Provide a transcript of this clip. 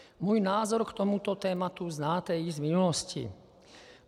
Můj názor k tomuto tématu znáte již z minulosti.